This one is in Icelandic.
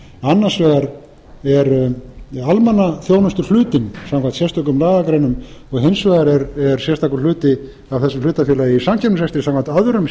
annars vegar er almannaþjónustuhlutinn samkvæmt sérstökum lagagreinum og hins vegar er sérstakur hluti af þessu hlutafélagi í samkeppnisrekstri samkvæmt öðrum